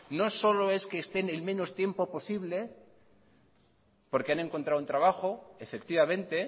no solo es que estén en menos tiempo posible porque han encontrado un trabajo efectivamente